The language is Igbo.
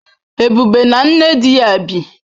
Ebube na nne di ya bi.